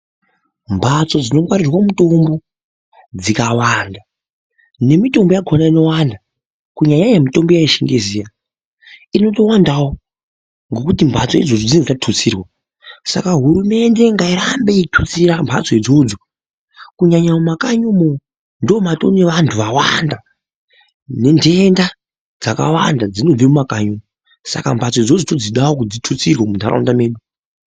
Mbatso dzino ngwarirwe mutombo dzikawanda ne mitombo yakona inowanda ku nyanya mitombo ye chingezi iya inoto wandawo ngekuti mbatso idzodzi dzinenge dza tutsirwa saka hurumende ngayi rambe yei tutsira mbatso idzodzo kunyanya mu makanyimo ndo matone vantu vawanda ne dhenda dzakawanda dzinobve mu makanyi saka mbatso dzodzo todzidawo dzi tutsirwe mu ndaraunda medu.